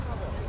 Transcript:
Abba.